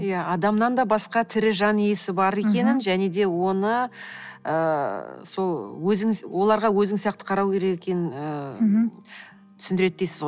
иә адамнан да басқа тірі жан иесі бар екенін және де оны ыыы сол оларға өзің сияқты қарау керек екенін ыыы түсіндіреді дейсіз ғой